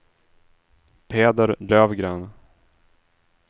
Peder Löfgren